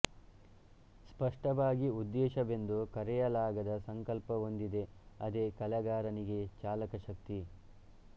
ಸ್ಪಷ್ಟವಾಗಿ ಉದ್ದೇಶವೆಂದು ಕರೆಯಲಾಗದ ಸಂಕಲ್ಪ ಒಂದಿದೆ ಅದೇ ಕಲೆಗಾರನಿಗೆ ಚಾಲಕಶಕ್ತಿ